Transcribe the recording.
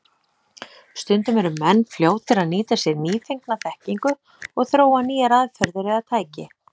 Stundum eru menn fljótir að nýta sér nýfengna þekkingu og þróa nýjar aðferðir eða tæki.